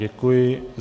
Děkuji.